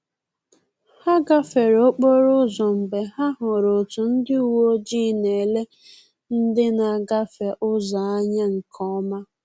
Ha gafere okporo ụzọ mgbe ha hụrụ otu ndị uweojii na-ele ndị na-agafe ụzọ anya nke ọma